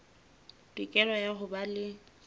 tokelo ya ho ba le